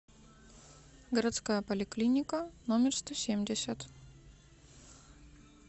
городская поликлиника номер сто семьдесят